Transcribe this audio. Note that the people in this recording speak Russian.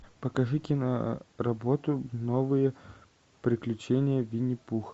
покажи киноработу новые приключения винни пуха